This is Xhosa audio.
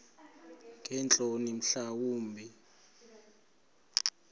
ngeentloni mhla wumbi